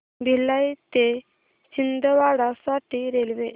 भिलाई ते छिंदवाडा साठी रेल्वे